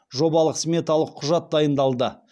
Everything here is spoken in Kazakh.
жобалық сметалық құжат дайындалды